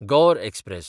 Gaur express